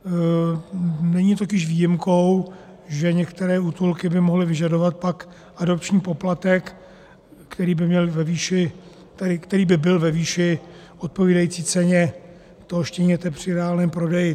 Není totiž výjimkou, že některé útulky by mohly vyžadovat pak adopční poplatek, který by byl ve výši odpovídající ceně toho štěněte při reálném prodeji.